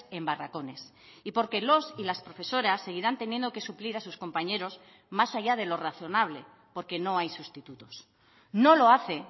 en barracones y porque los y las profesoras seguirán teniendo que suplir a sus compañeros más allá de lo razonable porque no hay sustitutos no lo hace